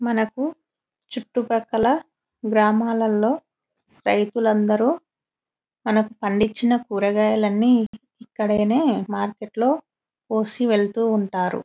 మనకు చుట్టు పక్కల గ్రామాలల్లో రైతులు అందరూ మనకు పాడించిన కూరగాయాలు అన్ని ఇక్కడనే మార్కెట్ లో కోసి వెళ్తుంటారు .